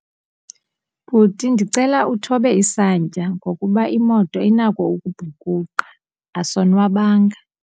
Bhuti, ndicela uthobe isantya ngokuba imoto inako ukubhukuqa, asonwabanga.